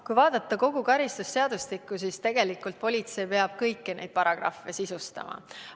Kui vaadata kogu karistusseadustikku, siis tegelikult peab politsei kõiki neid paragrahve sisustama.